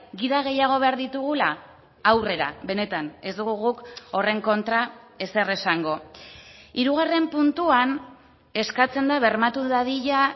gida gehiago behar ditugula aurrera benetan ez dugu guk horren kontra ezer esango hirugarren puntuan eskatzen da bermatu dadila